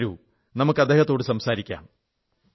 വരൂ അദ്ദേഹത്തോടു സംസാരിക്കാം